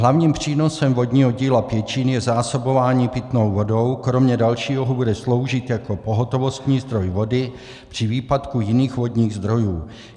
Hlavním přínosem vodního díla Pěčín je zásobování pitnou vodou, kromě dalšího bude sloužit jako pohotovostní zdroj vody při výpadku jiných vodních zdrojů.